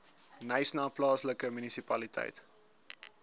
knysna plaaslike munisipaliteit